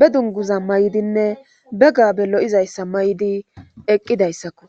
be dunguza may7dinne be gabe lo7izayssa may'di eqqidayssakko